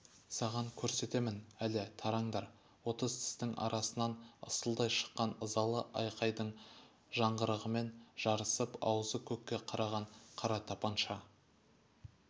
саған көрсетемін әлі тараңдар отыз тістің арасынан ысылдай шыққан ызалы айқайдың жаңғырығымен жарысып аузы көкке қараған қара тапанша